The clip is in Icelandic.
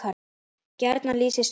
gjarnan lýsist rúmið